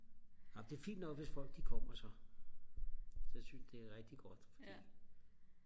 amen det er fint nok hvis folk de kommer sig så synes jeg det er rigtig godt fordi